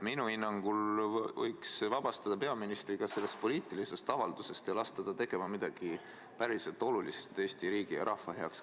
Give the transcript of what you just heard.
Minu hinnangul võiks vabastada peaministri ka sellest poliitilisest avaldusest ja lasta ta tegema midagi päriselt olulist Eesti riigi ja rahva heaks.